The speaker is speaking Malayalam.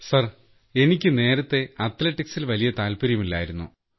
സാർ എനിക്ക് നേരത്തെ അത്ലറ്റിക്സിൽ വലിയ താൽപര്യമില്ലായിരുന്നു